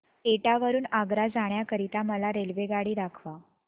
एटा वरून आग्रा जाण्या करीता मला रेल्वेगाडी दाखवा